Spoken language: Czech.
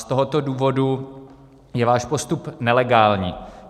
Z tohoto důvodu je váš postup nelegální.